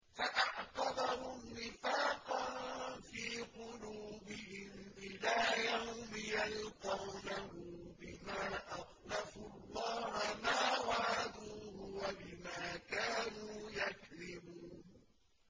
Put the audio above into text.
فَأَعْقَبَهُمْ نِفَاقًا فِي قُلُوبِهِمْ إِلَىٰ يَوْمِ يَلْقَوْنَهُ بِمَا أَخْلَفُوا اللَّهَ مَا وَعَدُوهُ وَبِمَا كَانُوا يَكْذِبُونَ